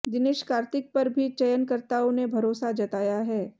दिनेश कार्तिक पर भी चयनकर्ताओं ने भरोसा जताया है